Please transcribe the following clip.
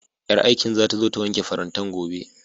Ƴar aikin zata zo ta wanke farantan gobe